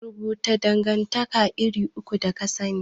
Rubuto dangantaka iri uku da kasani?